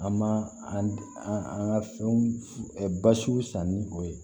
An ma an ka fɛnw basiw san ni o ye